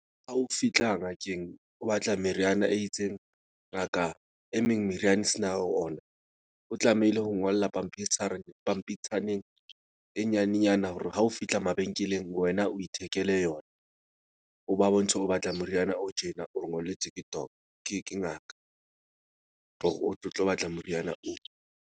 Ha o fitlha ngakeng, o batla meriana e itseng, ngaka e meng meriana sena ho ona. O tlamehile ho ngolla pampitshareng pampitshaneng e nyanenyana hore ha o fihla mabenkeleng, wena o ithekele yona. O ba bontshe hore o batla moriana o tjena o ngolletswe ke , ke ngaka hore o tle o tlo batla moriana o.